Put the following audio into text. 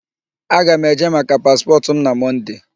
Aga m eje maka paspọtụ m na Mọnde.